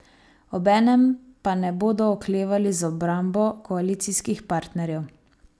Obenem pa ne bodo oklevali z obrambo koalicijskih partnerjev.